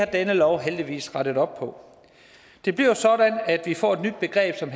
denne lov heldigvis rette op på det bliver sådan at vi får et nyt begreb som